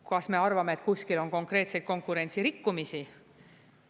Kas me arvame, et kuskil on konkreetseid konkurentsirikkumisi?